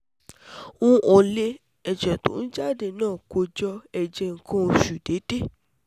um Nle, ẹ̀jẹ̀ tó ń jáde naa ko jo eje nkan oṣù deede